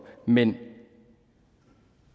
men